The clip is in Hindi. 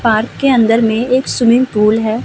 पार्क के अंदर में एक स्विमिंग पूल है ।